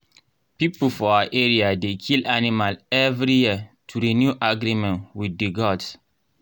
people for our area dey kill animal every year to renew agreement with the gods.